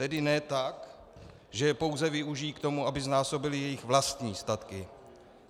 Tedy ne tak, že je pouze využijí k tomu, aby znásobili jejich vlastní statky.